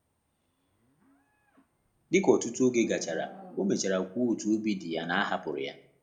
Dịka ọtụtụ oge gachara, ọ mechara kwuo otu obi dị ya na a hapụrụ ya